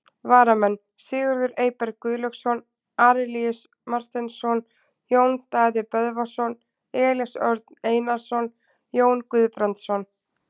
Varamenn: Sigurður Eyberg Guðlaugsson, Arilíus Marteinsson, Jón Daði Böðvarsson, Elías Örn Einarsson, Jón Guðbrandsson.